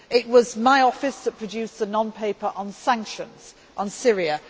It was my office that produced the non paper on sanctions on Syria